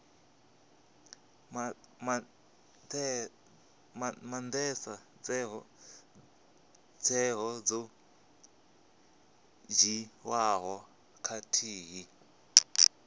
maandesa tsheo dzo dzhiiwaho khathihi